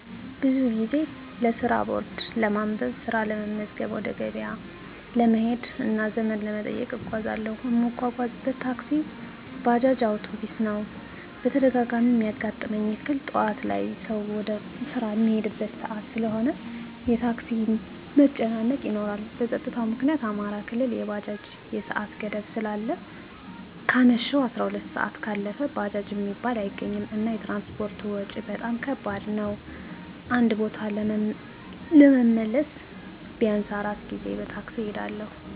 ብዙ ጊዜ ለስራ ቦርድ ለማንበብ፣ ስራ ለመመዝገብ፣ ወደ ገበያ ለመሄድ እና ዘመድ ለመጠየቅ እጓዛለሁ። እምጓጓዝበት ታክሲ፣ ባጃጅ፣ አዉቶቢስ ነዉ። በተደጋጋሚ እሚያጋጥመኝ እክል ጠዋት ላይ ሰዉ ወደ ስራ እሚሄድበት ሰአት ስለሆነ የታክሲ መጨናነቅ ይኖራል። በፀጥታዉ ምክኒያት አማራ ክልል ላይ የባጃጅ የሰአት ገደብ ስላለ ከአመሸሁ 12 ሰአት ካለፈ ባጃጅ እሚባል አይገኝም። እና የትራንስፖርት ወጭ በጣም ከባድ ነዉ አንድ ቦታ ደርሶ ለመመለስ ቢያንስ 4 ጊዜ በታክሲ እሄዳለሁ።